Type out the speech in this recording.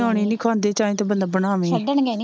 ਨਿਆਣੇ ਖਾਂਦੇ ਚਾਹੇ ਤਾਂ ਬੰਦਾ ਬਣਾਵੇ ਛੱਡਣਗੇ ਨੀ,